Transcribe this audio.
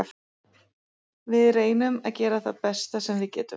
Við reynum að gera það besta sem við getum.